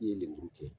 I ye lemuru kɛ